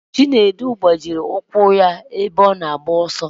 Chinedu gbajiri ụkwụ ya ebe ọ na-agba ọsọ.